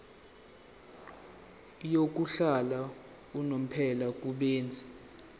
yokuhlala unomphela kubenzi